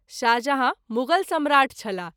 शाहजहाँ मुग़ल सम्राट छलाह।